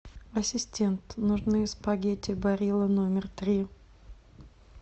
ассистент нужны спагетти барилла номер три